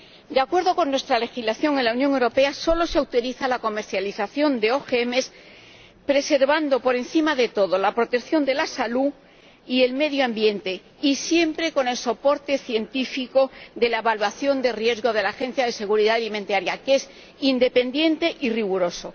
De acuerdo con nuestra legislación, en la Unión Europea solo se utiliza la comercialización de OGM preservando, por encima de todo, la protección de la salud y el medio ambiente, y siempre con el soporte científico de la evaluación de riesgo de la Autoridad Europea de Seguridad Alimentaria, que es independiente y riguroso.